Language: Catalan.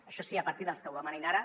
això sí a partir dels que ho demanin ara